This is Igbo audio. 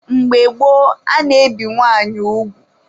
Mgbe gboo, a na-ebi nwaanyị ugwu.